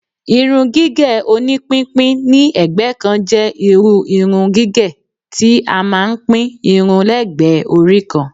Irun gígẹ̀ oní pínpín ni ẹ̀gbẹ́ kan jẹ́ irú irun gigẹ̀ tí a máa ń pín irun lẹ́gbẹ̀ẹ́ orí kan